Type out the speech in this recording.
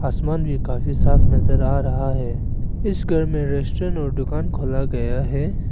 आसमान भी काफी साफ नजर आ रहा है इस घर में रेस्टोरेंट और दुकान खोला गया है।